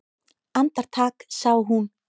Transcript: Andartak sá hún